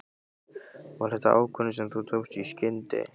Var þetta ákvörðun sem þú tókst í skyndi?